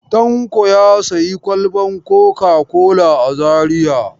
Tanko ya sayi kwalban coca-cola a Zariya.